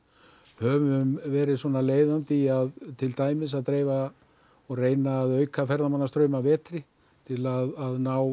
höfum verið leiðandi í að til dæmis dreifa og auka ferðamannastraum að vetri til að ná